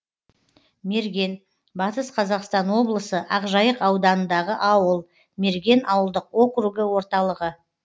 мерген батыс қазақстан облысы ақжайық ауданындағы ауыл мерген ауылдық округі орталығы